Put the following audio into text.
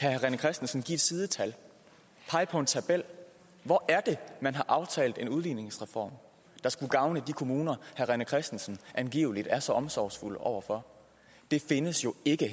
herre rené christensen give et sidetal pege på en tabel hvor er det man har aftalt en udligningsreform der skulle gavne de kommuner herre rené christensen angiveligt er så omsorgsfuld over for det findes jo ikke